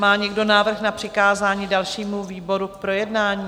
Má někdo návrh na přikázání dalšímu výboru k projednání?